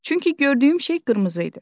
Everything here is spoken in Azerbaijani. Çünki gördüyüm şey qırmızı idi.